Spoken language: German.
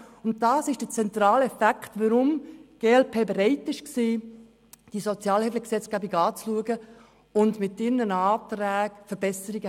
Das ist der zentrale Fakt, weshalb die glp-Fraktion bereit war, diese Sozialhilfegesetzgebung anzuschauen und sie mit ihren Anträgen zu verbessern.